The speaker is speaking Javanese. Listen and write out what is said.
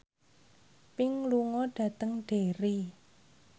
Pink lunga dhateng Derry